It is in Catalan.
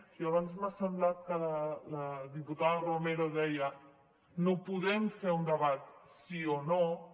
i abans m’ha semblat que la diputada romero deia no podem fer un debat sí o no